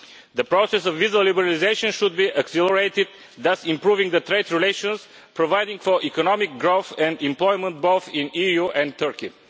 The process of visa liberalisation should be accelerated, thus improving trade relations and providing for economic growth and employment both in the EU and Turkey.